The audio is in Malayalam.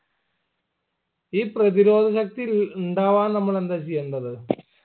ഈ പ്രധിരോധ ശക്തി ഇൽ ഇണ്ടാവാൻ നമ്മൾ എന്താ ചെയ്യേണ്ടത്